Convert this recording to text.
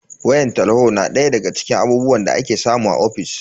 Wayan talho na daya daga cikin abubuwan da ake samu a ofis.